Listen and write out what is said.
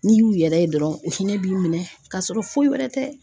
N'i y'u yɛrɛ ye dɔrɔn u hinɛ b'i minɛ ka sɔrɔ foyi wɛrɛ tɛ.